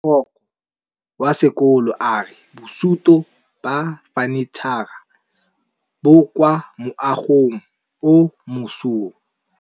Mogokgo wa sekolo a re bosutô ba fanitšhara bo kwa moagong o mošwa.